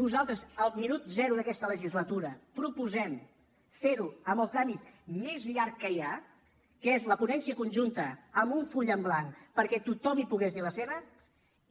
nosaltres al minut zero d’aquesta legislatura proposem fer ho amb el tràmit més llarg que hi ha que és la ponència conjunta amb un full en blanc perquè tothom hi pogués dir la seva